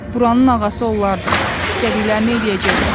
Buranın ağası onlardır, istədiklərini eləyəcəklər.